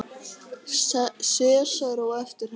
Sesar á eftir henni.